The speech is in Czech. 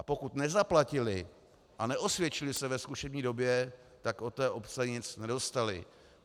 A pokud nezaplatili a neosvědčili se ve zkušební době, tak od té obce nic nedostali.